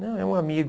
Não, é um amigo.